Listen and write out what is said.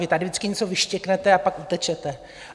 Vy tady vždycky něco vyštěknete, a pak utečete.